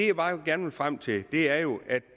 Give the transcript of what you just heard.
jeg bare gerne vil frem til er jo at